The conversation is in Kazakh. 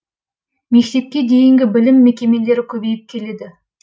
мектепке дейінгі білім мекемелері көбейіп келеді